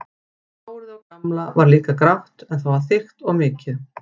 Hárið á Gamla var líka grátt en það var þykkt og mikið.